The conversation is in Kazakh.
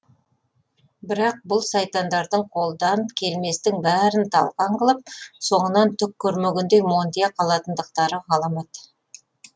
бірақ бұл сайтандардың қолдан келместің бәрін талқан қылып соңынан түк көрмегендей монтия қалатындықтары ғаламат